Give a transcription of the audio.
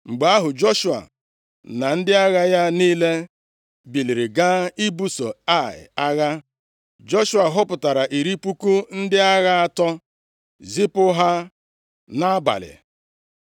Mgbe ahụ, Joshua na ndị agha ya niile, biliri gaa ibuso Ai agha. Joshua họpụtara iri puku ndị agha atọ zipụ ha nʼabalị